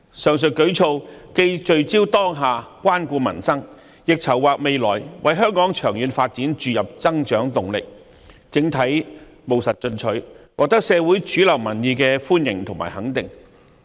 上述舉措既聚焦當下，關顧民生，亦籌劃未來，為香港長遠發展注入增長動力，整體務實進取，獲得社會主流民意的歡迎和肯定。